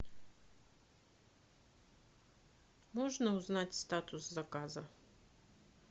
можно узнать статус заказа